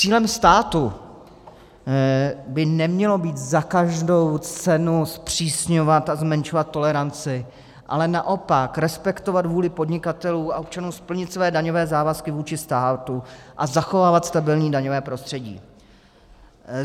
Cílem státu by nemělo být za každou cenu zpřísňovat a zmenšovat toleranci, ale naopak respektovat vůli podnikatelů a občanů splnit svoje daňové závazky vůči státu a zachovávat stabilní daňové prostředí.